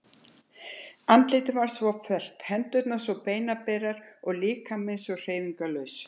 Andlitið var svo fölt, hendurnar svo beinaberar og líkaminn svo hreyfingarlaus.